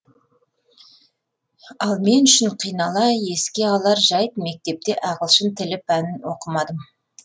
ал мен үшін қинала еске алар жәйт мектепте ағылшын тілі пәнін оқымадым